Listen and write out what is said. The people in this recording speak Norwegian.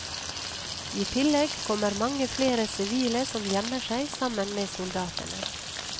I tillegg kommer mange flere sivile som gjemmer seg sammen med soldatene.